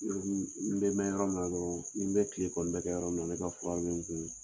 n bɛ mɛn yɔrɔ min na dɔrɔn, n bɛ kile kɔni bɛɛ kɛ yɔrɔ min na, ne ka fura bɛ n kun.